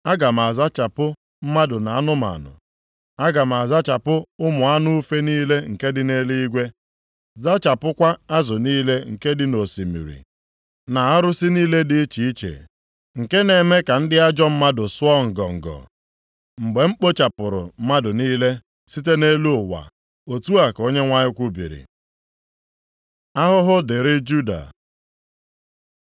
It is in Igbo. “Aga m azachapụ mmadụ na anụmanụ. Aga m azachapụ ụmụ anụ ufe niile nke dị nʼeluigwe, zachapụkwa azụ niile nke dị nʼosimiri, na arụsị niile dị iche iche nke na-eme ka ndị ajọ mmadụ sụọ ngọngọ.” “Mgbe m kpochapụrụ + 1:3 Maọbụ, lara mmadụ niile nʼiyi mmadụ niile site nʼelu ụwa,” otu a ka Onyenwe anyị kwubiri. Ahụhụ dịrị Juda